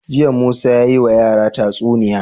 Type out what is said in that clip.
Jiya musa yayi wa yara tatsuniya